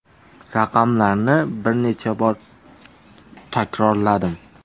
Raqamlarni bir necha bor takrorladim.